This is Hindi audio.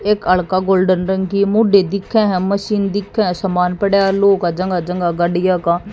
एक गोल्डन रंग की दिखे हैं मशीन दिखे है सामान पड़े हैं लोग है जगह जगह गाड़ियां का।